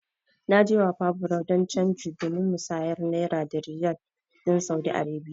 Na je Wapa bureau de change domin musanya Naira da Riyal Saudi Arabiya.